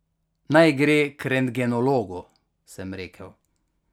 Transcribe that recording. Naj gre k rentgenologu, sem rekel.